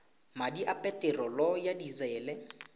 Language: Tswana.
madi a peterolo ya disele